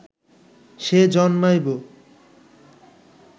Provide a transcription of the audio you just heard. সে জন্মাইব